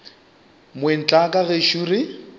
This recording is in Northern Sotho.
moeng tla ka gešo re